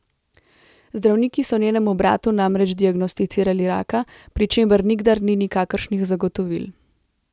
Zdravniki so njenemu bratu namreč diagnosticirali raka, pri čemer nikdar ni nikakršnih zagotovil.